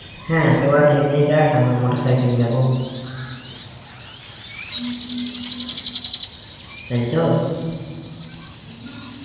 হ্যাঁ তো ওরা ট্রেনে যাক আমরা motorcycle এ যাব তাইতো